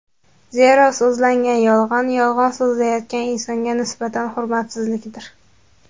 Zero so‘zlangan yolg‘on yolg‘on so‘zlanayotgan insonga nisbatan hurmatsizlikdir.